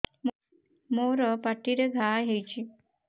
ମୋର ପାଟିରେ ଘା ହେଇଚି